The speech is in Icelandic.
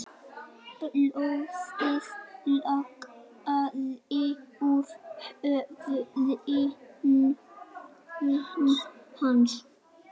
Blóðið lagaði úr höfði hans.